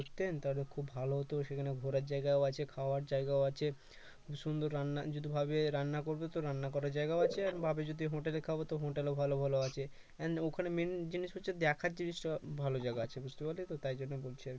আসতেন তাহলে খুব ভালো হতো সেখানে ঘোরার জায়গাও আছে খাওয়ার জায়গাও আছে সুন্দর রান্না যদি ভাবে রান্না করবে তো রান্না করার জায়গা আছে আর ভাবে যদি হোটেলে খাব তো হোটেলও ভালো ভালো আছে and ওখানে main জিনিস হচ্ছে দেখার জিনিস খুব ভালো জায়গা আছে বুঝতে পারলি তো তাই জন্য বলছি আর কি